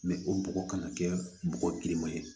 o bɔgɔ kana kɛ bɔgɔ girinma ye